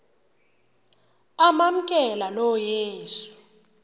amamkela lo yesu